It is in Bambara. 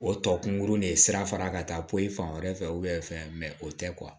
O tɔ kunkurunin ye sira fara ka taa poyi fan wɛrɛ fɛ fɛn o tɛ